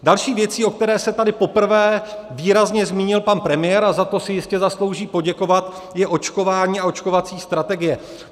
Další věcí, o které se tady poprvé výrazně zmínil pan premiér, a za to si jistě zaslouží poděkovat, je očkování a očkovací strategie.